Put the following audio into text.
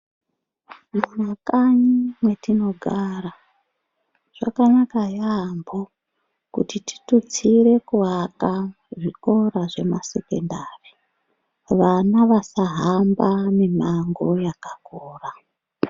Mu makanyi mwetino gara zvakanaka yambo kuti titutsire ku aka zvikora zve ma sekendari vana vasa hamba mi mango yakakura.